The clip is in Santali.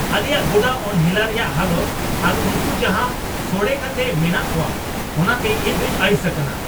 ᱟᱞᱮᱭᱟᱜ ᱜᱚᱰᱟ ᱚᱱᱦᱮᱞᱟ ᱨᱮᱭᱟᱜ ᱦᱟᱞᱚᱛ ᱟᱨ ᱩᱱᱠᱩ ᱡᱟᱦᱟᱸ ᱥᱚᱲᱮ ᱠᱟᱛᱮ ᱢᱮᱱᱟᱜ ᱠᱚᱣᱟ ᱚᱱᱟᱛᱮ ᱤᱧᱫᱩᱧ ᱟᱹᱲᱤᱥ ᱟᱠᱟᱱᱟ ᱾